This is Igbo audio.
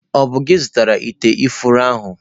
Ọ bụ gị zụtara ite ifuru ahụ?